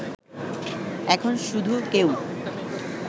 এখন শুধু কেউ